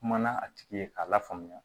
Kuma na a tigi ye k'a lafaamuya